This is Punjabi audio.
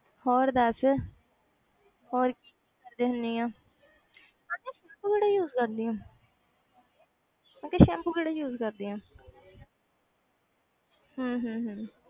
ਹੋਰ ਦੱਸ ਹੋਰ ਕੀ ਕਰਦੀ ਹੁੰਦੀ ਆਂ ਅੱਛਾ shampoo ਕਿਹੜਾ use ਕਰਦੀ ਆਂ ਅੱਛਾ ਸੈਂਪੂ ਕਿਹੜਾ use ਕਰਦੀ ਹੈ ਹਮ ਹਮ ਹਮ